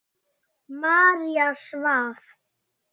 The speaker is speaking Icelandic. María svaf.